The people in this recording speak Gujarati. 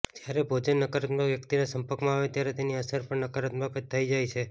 જ્યારે ભોજન નકારાત્મક વ્યક્તિના સંપર્કમાં આવે ત્યારે તેની અસર પણ નકારાત્મક જ થઈ જાય છે